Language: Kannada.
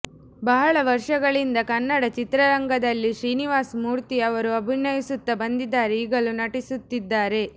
ಬಹಳ ವರ್ಷಗಳಿಂದ ಕನ್ನಡ ಚಿತ್ರರಂಗದಲ್ಲಿ ಶ್ರೀನಿವಾಸ್ ಮೂರ್ತಿ ಅವರು ಆಭಿನಯಿಸುತ್ತ ಬಂದಿದ್ದಾರೆ ಈಗಲು ನಟಿಸುತ್ತಿದ್ದಾರೆ